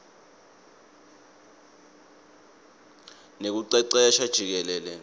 nekucecesha jikelele